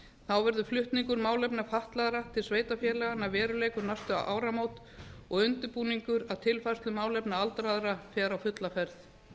þá verður flutningur málefna fatlaðra til sveitarfélaganna að veruleika um næstu áramót og undirbúningur að tilfærslu málefna aldraðra fer á fulla ferð